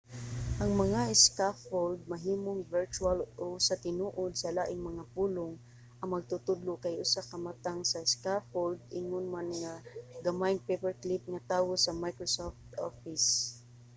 ang mga scaffold mahimong virtual o sa tinuod sa laing mga pulong ang magtutudlo kay usa ka matang sa scaffold ingon man ang gamayng paperclip nga tawo sa microsoft office